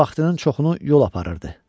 Həm də vaxtının çoxunu yol aparırdı.